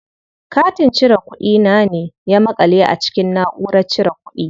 Katin cire kuɗi na ne ya maƙale a cikin naʼurar cire kuɗi.